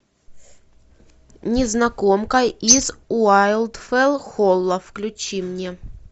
незнакомка из уайлдфелл холла включи мне